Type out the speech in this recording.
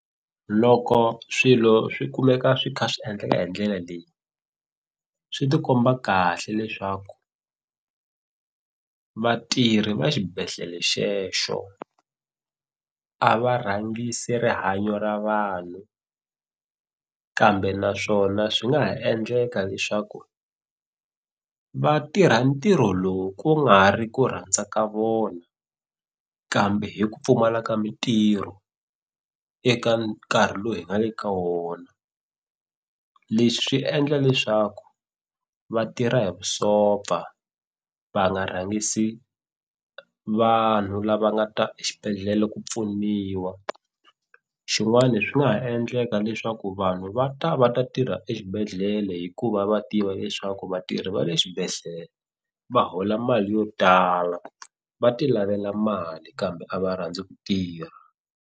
Loko swilo swi kumeka swi kha swi endleka hi ndlela leyi swi ti komba kahle leswaku vatirhi va xibedhlele xexo a va rhangisi rihanyo ra vanhu kambe naswona swi nga ha endleka leswaku va tirha ntirho lowu ku nga ri ku rhandza ka vona kambe hi ku pfumala ka mintirho eka nkarhi lowu hi nga le ka wona leswi swi endla leswaku vatirha hi vusopfa va nga rhangisi vanhu lava nga ta exibedhlele ku pfuniwa xin'wani swi nga ha endleka leswaku vanhu va ta va ta tirha exibedhlele hikuva va tiva leswaku vatirhi va le swibedhlele va hola mali yo tala va ti lavela mali kambe a va rhandzi ku tirha.